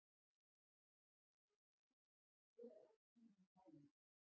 Það yrði erfitt að skera úr því með mælingu.